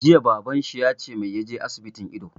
Jiya Baban shi ya ce mai ya je asibitin ido!